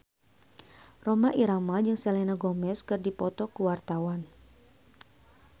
Rhoma Irama jeung Selena Gomez keur dipoto ku wartawan